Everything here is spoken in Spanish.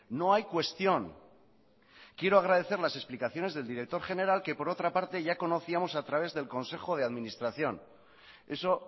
no hay cuestión quiero agradecer las explicaciones del director general que por otra parte ya conocíamos a través del consejo de administración eso